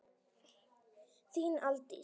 Þín Aldís.